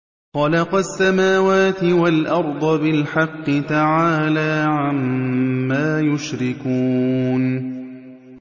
خَلَقَ السَّمَاوَاتِ وَالْأَرْضَ بِالْحَقِّ ۚ تَعَالَىٰ عَمَّا يُشْرِكُونَ